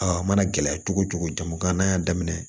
Aa a mana gɛlɛya cogo cogo jamukan na y'a daminɛ